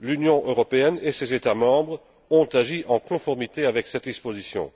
l'Union européenne et ses États membres ont agi en conformité avec cette disposition.